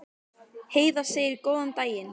Heiða segir góðan daginn!